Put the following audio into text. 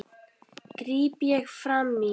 gríp ég fram í.